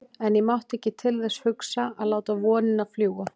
En ég mátti ekki til þess hugsa að láta vonina fljúga.